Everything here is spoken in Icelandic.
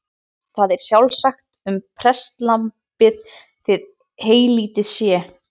Það er sjálfsagt um prestlambið þó heylítið sé.